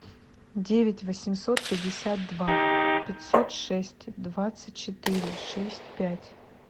девять восемьсот пятьдесят два пятьсот шесть двадцать четыре шесть пять